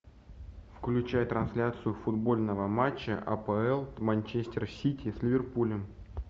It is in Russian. включай трансляцию футбольного матча апл манчестер сити с ливерпулем